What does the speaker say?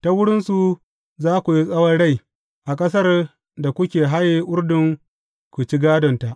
Ta wurinsu za ku yi tsawon rai a ƙasar da kuke haye Urdun ku ci gādonta.